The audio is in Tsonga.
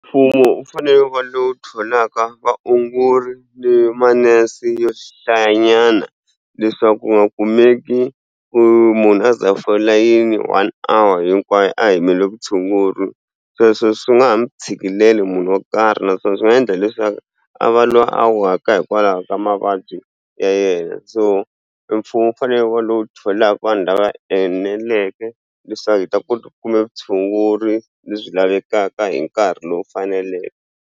Mfumo u fanele ku lowu tholaka vaongori ni manese yo hlaya nyana leswaku u nga kumeki ku munhu a za a fonela yini one hour hinkwayo a yimile vutshunguri sweswo swi nga ha mi tshikeleli munhu wo karhi naswona swi nga endla leswaku a va lwa a waka hikwalaho ka mavabyi ya yena so mfumo wu fanele wu va lowu tholaka vanhu lava eneleke leswaku hi ta kota ku kumbe vutshunguri lebyi lavekaka hi nkarhi lowu faneleke.